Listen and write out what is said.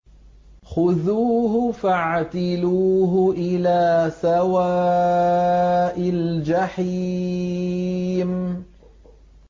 خُذُوهُ فَاعْتِلُوهُ إِلَىٰ سَوَاءِ الْجَحِيمِ